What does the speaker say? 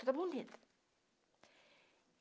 Tudo bonito.